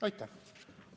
Aitäh!